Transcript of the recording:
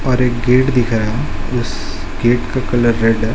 और एक गेट दिख रहा है उस गेट का कलर रेड है।